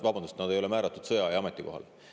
Õigemini nad ei ole määratud sõjaaja ametikohale.